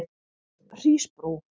Hrísbrú